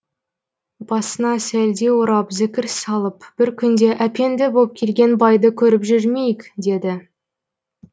басына сәлде орап зікір салып бір күнде әпенді боп келген байды көріп жүрмейік деді